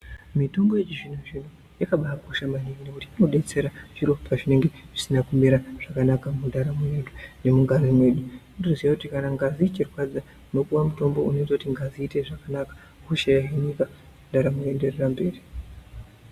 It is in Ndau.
Mitombo yechi zvino zvino yakabai kosha maningi nekuti ino detsera zviro pazvinenge zvisina kumira zvakanaka mundaramo ye vantu nemu ngazi medu unoto ziya kuti kana ngazi ichi rwadza ndino puwa mutombo unoita kuti ngazi izwe zvakanaka hosha yo hinika ndaramo yo enderera mberi.